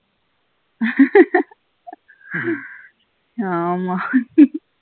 ஆமா